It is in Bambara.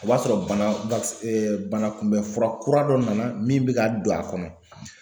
O b'a sɔrɔ bana bana kunbɛ fura kura dɔ nana min be ka don a kɔnɔ.